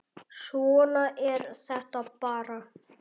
Svona er þetta bara.